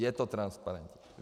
Je to transparentní.